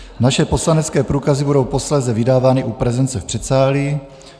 Naše poslanecké průkazy budou posléze vydávány u prezence v předsálí.